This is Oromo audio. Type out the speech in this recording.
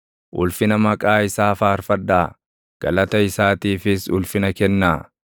Ulfina maqaa isaa faarfadhaa; galata isaatiifis ulfina kennaa!